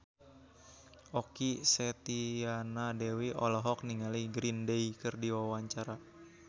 Okky Setiana Dewi olohok ningali Green Day keur diwawancara